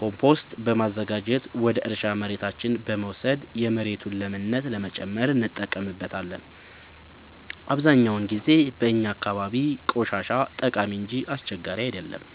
ኮምቶስት በማዘጋጀት ወደ እርሻ መሬታችን በመውሰድ የመሬቱን ለምነት ለመጨመር እንጠቀምበታለን። አብዛኛውን ጊዜ በእኛ አካባቢ ቆሻሻ ጠቃሚ እንጂ አስቸጋሪ አይደለም።